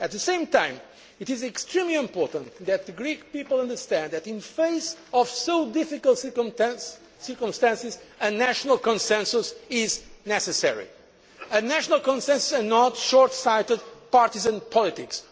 growth. At the same time, it is extremely important that the Greek people understand that in the face of such difficult circumstances a national consensus is necessary a national consensus and not short sighted partisan